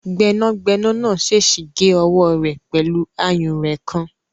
Gbẹ́nàgbẹ́nà náà sèèsì gé ọwọ́ rẹ̀ pẹ̀lú àyúnrẹ̀ kan